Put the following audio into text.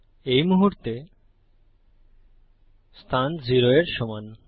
এই মুহুর্তে স্থান 0 এর সমান